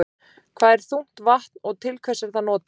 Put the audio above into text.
Hvað er þungt vatn og til hvers er það notað?